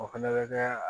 O fɛnɛ bɛ kɛ